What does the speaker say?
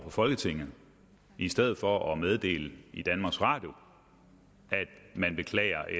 for folketinget i stedet for at meddele i danmarks radio at man beklager